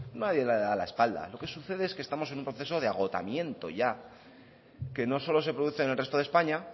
nadie le da la espalda lo que sucede es que estamos en un proceso de agotamiento ya que no solo se produce en el resto de españa